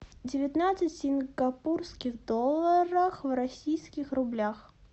девятнадцать сингапурских долларов в российских рублях